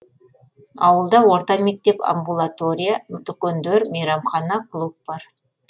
ауылда орта мектеп амбулатория дүкендер мейрамхана клуб бар